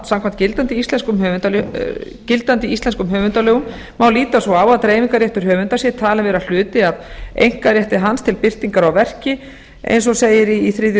samkvæmt gildandi íslenskum höfundalögum má líta svo á að dreifingarréttur höfunda sé talinn vera hluti af einkarétti hans til birtingar á verki eins og segir í þriðju